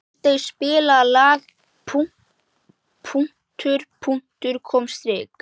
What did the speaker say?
Aldey, spilaðu lagið „Punktur, punktur, komma, strik“.